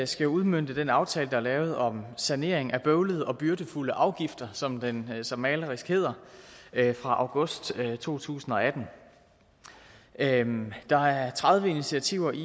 skal udmønte den aftale der er lavet om sanering af bøvlede og byrdefulde afgifter som den så malerisk hedder fra august to tusind og atten der er tredive initiativer i